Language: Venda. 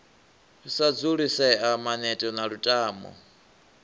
sa dzulisea maneto na lutamo